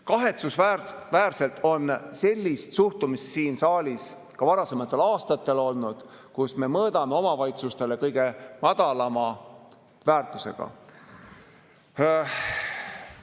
Kahetsusväärselt on sellist suhtumist siin saalis ka varasematel aastatel olnud, me mõõdame omavalitsustele kõige madalama väärtuse kohaselt.